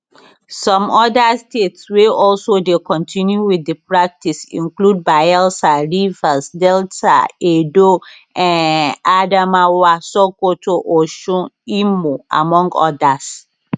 some oda states wey also dey continue wit di practice include bayelsa rivers delta edo um adamawa sokoto osun imo among odas